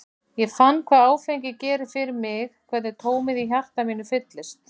Ég fann hvað áfengi gerir fyrir mig, hvernig tómið í hjarta mínu fyllist.